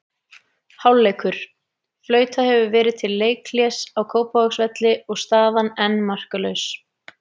Hálfleikur: Flautað hefur verið til leikhlés á Kópavogsvelli og staðan enn markalaus.